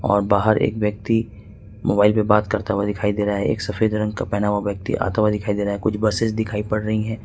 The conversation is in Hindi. और बाहर एक व्यक्ति मोबाइल पे बात करता हुआ दिखाई दे रहा है एक सफेद रंग का पहना हुआ व्यक्ति आता हुआ दिखाई दे रहा है कुछ बसेज दिखाई पड़ रही है।